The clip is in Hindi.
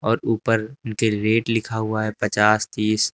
और ऊपर इनके रेट लिखा हुआ है पचास तीस।